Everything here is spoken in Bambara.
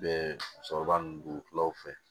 Bɛ cɛkɔrɔba ninnu kulaw fɛ